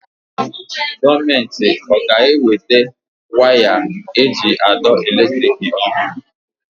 Gọọmenti ọ ga-eweta waya ndị eji àdọ́ elétrị̀k ọhụrụ?